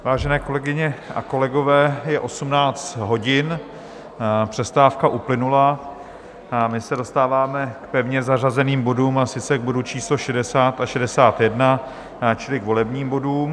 Vážené kolegyně a kolegové, je 18 hodin, přestávka uplynula a my se dostáváme k pevně zařazeným bodům, a sice k bodu číslo 60 a 61, čili k volebním bodům.